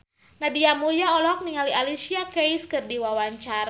Nadia Mulya olohok ningali Alicia Keys keur diwawancara